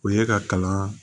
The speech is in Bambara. O ye ka kalan